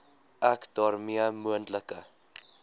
ek daarmee moontlike